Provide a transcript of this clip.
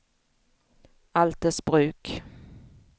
Altersbruk